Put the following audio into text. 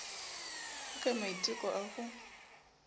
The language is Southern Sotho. ho ka maiteko a ho